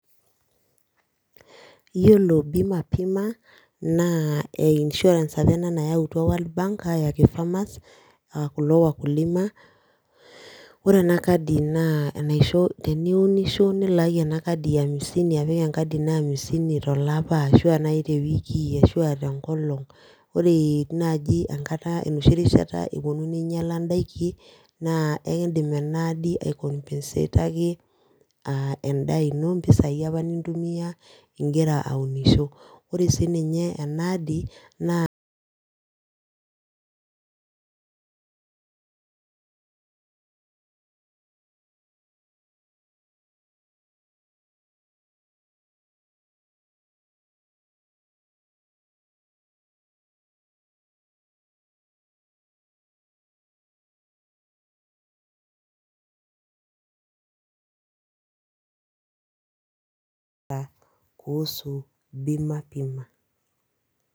Iyiolo pbima bima naa insurance apa ena nayautua world bank, aajo keng'as kulo wakulima ore ena kadi, naa Mwisho iunisho nnilaaki ena kadi amisini apik enkadi ino amisini tolapa, ashu aa naji te wiki ashu aa te nkolong' ore naji enkata arashu enoshi rishata epuonu neing'iala idaikin, naa ekidim Ina adi ai compensate edaa ino mpisai apa nintumia igira aunisho ore sii ninye ena asdi naakuusu bima bima